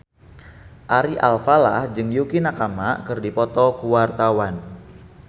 Ari Alfalah jeung Yukie Nakama keur dipoto ku wartawan